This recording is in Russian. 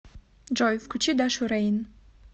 джой включи дашу рейн